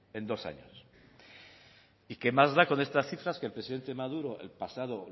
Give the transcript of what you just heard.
en dos años y qué más da con estas cifras que el presidente maduro el pasado